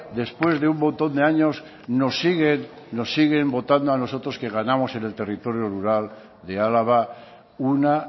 después de un montón de años nos siguen votando a nosotros que ganamos en el territorio rural de álava una